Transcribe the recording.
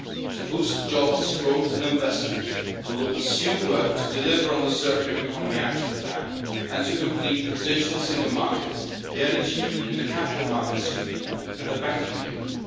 set out. To boost jobs, growth and investment, we will pursue work to deliver on the circular economy action plan and to complete the digital single market, the energy union, the capital markets union and the banking